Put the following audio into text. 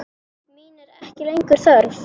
Mín er ekki lengur þörf.